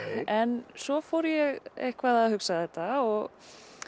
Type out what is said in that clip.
en svo fór ég eitthvað að hugsa þetta og